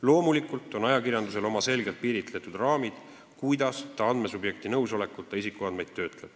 Loomulikult on ajakirjandusel oma selgelt piiritletud raamid, kuidas ta andmesubjekti nõusolekuta isikuandmeid töötleb.